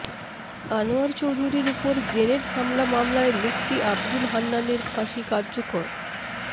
আনোয়ার চৌধুরীর ওপর গ্রেনেড হামলা মামলায় মুফতি আবদুল হান্নানের ফাঁসি কার্যকর